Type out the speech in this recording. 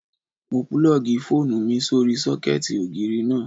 Mo púlọ̀gì fóònù mi sórí sọ́kẹ̀tì ògiri náà